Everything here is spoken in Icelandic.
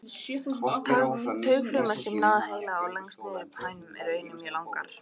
Taugafrumurnar sem ná frá heila og lengst niður í mænuna eru einnig mjög langar.